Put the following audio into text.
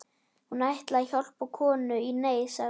Hún ætlaði að hjálpa konu í neyð, sagði